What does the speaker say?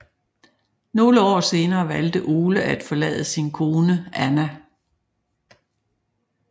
Nogle år senere valgte Ole at forlade sin kone Anna